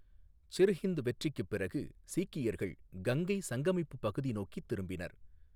சிர்ஹிந்த் வெற்றிக்குப் பிறகு சீக்கியர்கள் கங்கை சங்கமிப்புப் பகுதி நோக்கித் திரும்பினர்.